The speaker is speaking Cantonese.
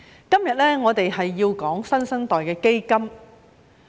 今天我們要討論"新生代基金"。